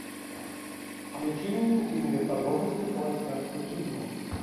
включи мне интимные подробности холостяцкой жизни